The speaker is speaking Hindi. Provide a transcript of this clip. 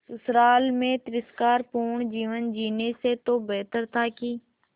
ससुराल में तिरस्कार पूर्ण जीवन जीने से तो बेहतर था कि